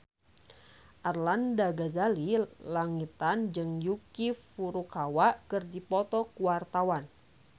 Arlanda Ghazali Langitan jeung Yuki Furukawa keur dipoto ku wartawan